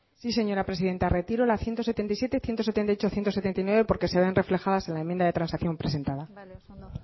sí señora presidenta retiro la ciento setenta y siete ciento setenta y ocho ciento setenta y nueve porque se ven reflejadas en la enmienda de transacción presentada bale oso ondo